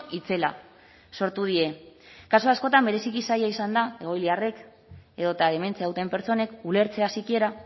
itzela sortu die kasu askotan bereziki zaila izan da egoiliarrek edota dementzia duten pertsonek ulertzea sikiera